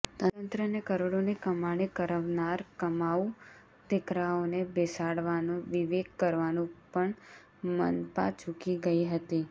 તંત્રને કરોડોની કમાણી કરવનાર કમાઉ દિકરાઓને બેસાડવાનો વિવેક કરવાનું પણ મનપા ચૂકી ગઇ હતી